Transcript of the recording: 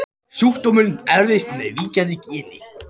Sjúkdómurinn erfist með víkjandi geni.